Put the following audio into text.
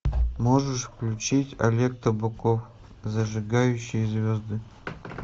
можешь включить олег табаков зажигающий звезды